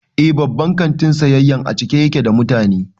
Eh, babban kantin siyayyan a cike ya ke da mutane